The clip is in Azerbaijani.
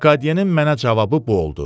Lekadyenin mənə cavabı bu oldu: